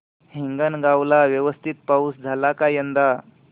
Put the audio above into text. हिंगणगाव ला व्यवस्थित पाऊस झाला का यंदा